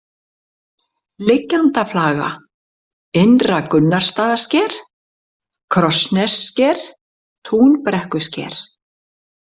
Liggjandaflaga, Innra-Gunnarsstaðasker, Krossnessker, Túnbrekkusker